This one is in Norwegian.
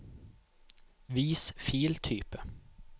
vis filtype